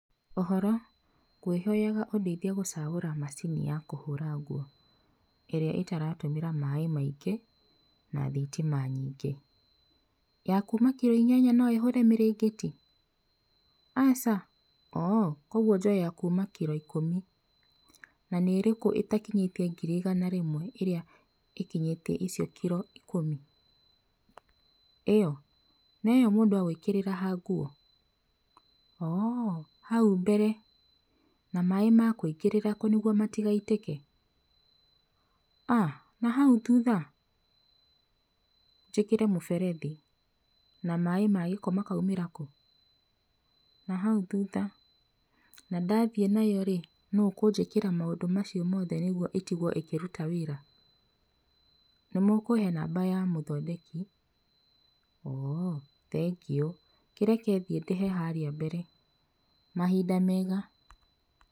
Ũhoro, ngwĩhoyaga ũndeithie gũcagũra macini ya kũhũra nguo, ĩrĩa ĩtaratũmĩra maĩ maingĩ na thitima nyingĩ. Ya kuuma kiro inyanya no ĩhũre mĩrĩngĩti? Aca? Ooh, koguo njoe ya kuuma kiro ikũmi? Na nĩ ĩrĩkũ ĩtakinyĩtie ngiri igana rĩmwe ĩmwe ĩrĩa ĩkinyĩtie icio kiro ikũmi? ĩyo? Na ĩyo mũndũ egwĩkĩrĩra ha nguo? Ooh, hau mbere na maĩ makũingĩrĩra kũ nĩguo matigaitĩke? Ah nahau thutha? Njĩkĩre mũberethi na maĩ ma gĩko makaumĩra kũ? Nahau thutha, na ndathiĩ nayo-rĩ nũũ ũkũnjĩkĩra maũndũ macio mothe nĩguo ĩtigwo ĩkĩruta wĩra? Nĩmũkũhe namba ya mũthondeki? Ooh, thengiũ. Kĩreke thiĩ ndĩhe harĩa mbere. Mahinda mega.